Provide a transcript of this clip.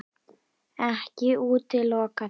Ekki útiloka það.